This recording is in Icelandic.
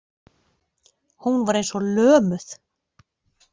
Hún var eins og lömuð.